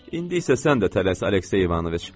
İndi isə sən də tələs, Aleksey İvanoviç!